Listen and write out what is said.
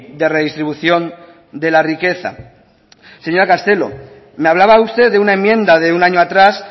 de redistribución de la riqueza señora castelo me hablaba usted de una enmienda de un año atrás